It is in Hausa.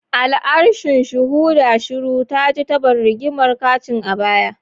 Al'arshin, shuhuda shiru, taji tabon rigimar kicin a baya.